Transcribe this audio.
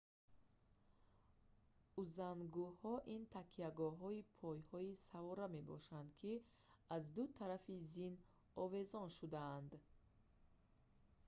узангуҳо ин такягоҳҳои пойи савора мебошанд ки аз ду тарафи зин овезон шудаанд